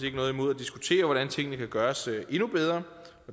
ikke noget imod at diskutere hvordan tingene kan gøres endnu bedre